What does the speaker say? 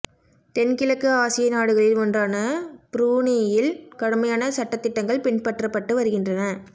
தென் கிழக்கு ஆசிய நாடுகளில் ஒன்றான புரூனேயில் கடுமையான சட்டதிட்டங்கள் பின்பற்றப்பட்டு வருகின்றன